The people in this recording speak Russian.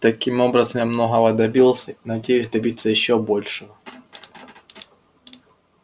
таким образом я многого добился и надеюсь добиться ещё большего